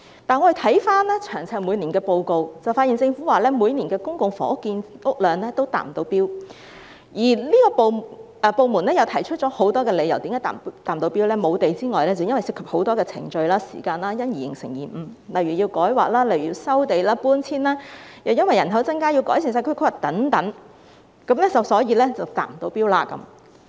但我們翻看每年的詳細報告，發現政府表示每年公共房屋建屋量也未能達標，有關部門提出了很多未能達標的理由，除了沒有土地之外，還涉及很多程序和時間，因而導致延誤，例如需要進行土地改劃、收地和搬遷工作，又因為人口增加，故此要改善社區規劃等，所以未能達標。